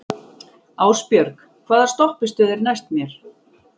Ásbjörg, hvaða stoppistöð er næst mér?